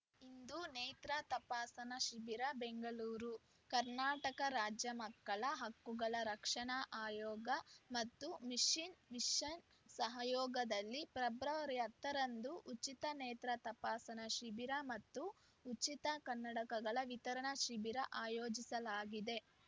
ಇಂದು ನೇತ್ರ ತಪಾಸಣಾ ಶಿಬಿರ ಬೆಂಗಳೂರು ಕರ್ನಾಟಕ ರಾಜ್ಯ ಮಕ್ಕಳ ಹಕ್ಕುಗಳ ರಕ್ಷಣಾ ಆಯೋಗ ಮತ್ತು ಮಿಷನ್‌ ವಿಷನ್‌ ಸಹಯೋಗದಲ್ಲಿ ಫೆಬ್ರವರಿ ಹತ್ತ ರಂದು ಉಚಿತ ನೇತ್ರ ತಪಾಸಣಾ ಶಿಬಿರ ಮತ್ತು ಉಚಿತ ಕನ್ನಡಕಗಳ ವಿತರಣಾ ಶಿಬಿರ ಆಯೋಜಿಸಲಾಗಿದೆ